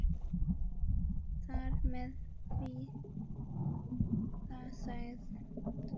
Þar með var það sagt.